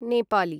Nepali